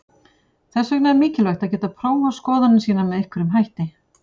Þess vegna er mikilvægt að geta prófað skoðanir sínar með einhverjum hætti.